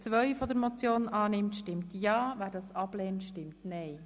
Wer diese annimmt, stimmt ja, wer sie ablehnt, stimmt nein.